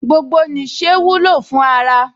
Gbogbo nìṣe wúlò fún ara